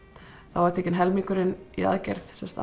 þá var tekinn helmingurinn í aðgerð sem sagt